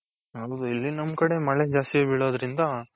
ಹೌದು ಇಲ್ಲಿ ನಮ್ ಕಡೆ ಮಳೆ ಜಾಸ್ತಿ ಬಿಳೋದ್ರಿಂದ,